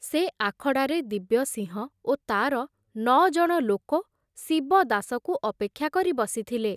ସେ ଆଖଡ଼ାରେ ଦିବ୍ୟସିଂହ ଓ ତାର ନଅଜଣ ଲୋକ ଶିବଦାସକୁ ଅପେକ୍ଷା କରି ବସିଥିଲେ।